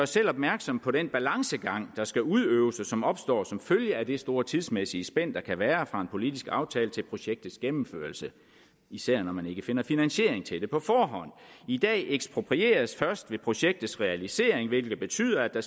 selv opmærksom på den balancegang der skal udøves og som opstår som følge af det store tidsmæssige spænd der kan være fra en politisk aftale til projektets gennemførelse især når man ikke finder finansiering til det på forhånd i dag eksproprieres der først ved projektets realisering hvilket betyder at der